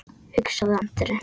hugsaði Andri.